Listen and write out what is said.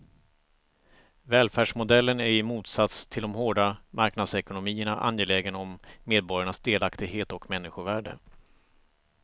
Välfärdsmodellen är i motsats till de hårda marknadsekonomierna angelägen om medborgarnas delaktighet och människovärde.